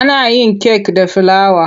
Ana yin kek da filawa.